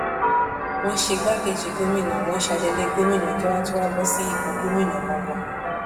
wọn ṣe igbákejì gómìnà wọn ṣe adelé gómìnà kí wọn tóó wáá bọ sípò gómìnà ganan